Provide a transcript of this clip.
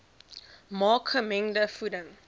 maak gemengde voeding